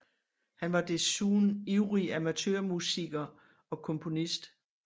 Han var desuden ivrig amatørmusiker og komponist